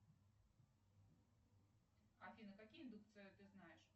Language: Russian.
афина какие индукции ты знаешь